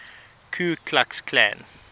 ku klux klan